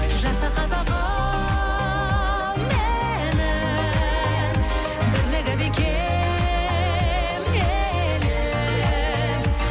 жаса қазағым менің бірлігі бекем елім